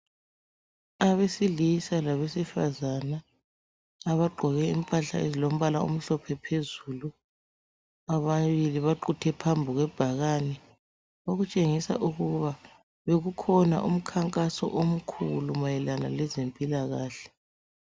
Abesilisa labesifazana abagqoke impahla ezilombala omhlophe phezulu. Ababili baquthe phambi kwebhakani, okutshengisa ukuba bekukhona umkhankaso omkhulu mayelana lezempilakahle.